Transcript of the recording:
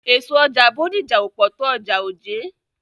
Èso ọjà Bódìjà ò pọ̀ tó ọjà Ojé.